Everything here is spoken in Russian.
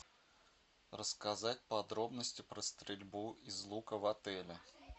рассказать подробности про стрельбу из лука в отеле